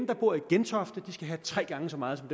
der bor i gentofte skal have tre gange så meget som